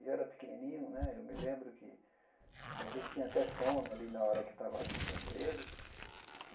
E eu era pequenininho né, eu me lembro que às vezes tinha até sono ali na hora que estava ajudando ele.